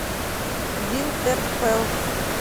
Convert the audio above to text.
винтерфелл